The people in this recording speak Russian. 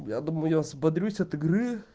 я думаю я взбодрюсь от игры